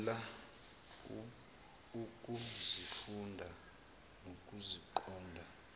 lula ukuzifunda nokuziqonda